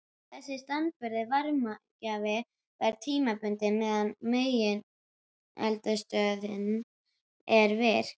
Þessi staðbundni varmagjafi varir tímabundið meðan megineldstöðin er virk.